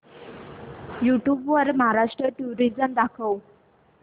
YouTube वर Maharashtra tourism दाखव